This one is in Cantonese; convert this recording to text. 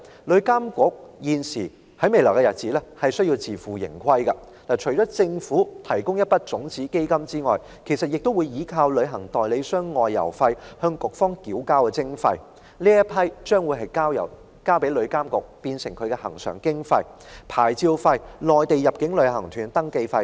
旅監局未來需要自負盈虧，其收入除了由政府提供的一筆種子基金外，也來自旅行代理商就外遊費向旅監局繳交的徵費，作為局方的恆常經費，還有牌照費和內地入境旅行團的登記費等。